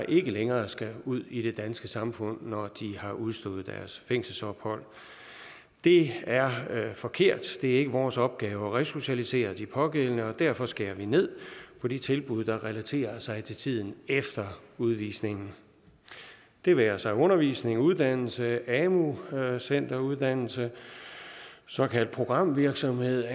ikke længere skal ud i det danske samfund når de har udstået deres fængselsophold det er forkert det er ikke vores opgave at resocialisere de pågældende og derfor skærer vi ned på de tilbud der relaterer sig til tiden efter udvisningen det være sig undervisning uddannelse amu centeruddannelse såkaldt programvirksomhed